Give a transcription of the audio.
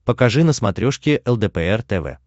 покажи на смотрешке лдпр тв